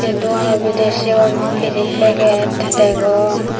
ei dogano bidirey sigun pidey paget degong.